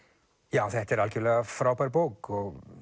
já þetta er algjörlega frábær bók og